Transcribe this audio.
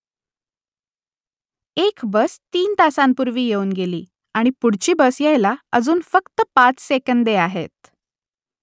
एक बस तीन तासांपूर्वी येऊन गेली आणि पुढची बस यायला अजून फक्त पाच सेकंदे आहेत